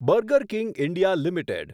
burger King India limited